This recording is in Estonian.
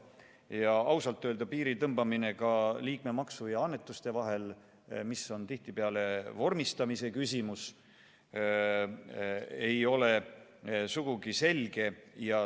Ja ausalt öelda piiri tõmbamine liikmemaksu ja annetuste vahel, mis on tihtipeale vormistamise küsimus, ei ole sugugi selge.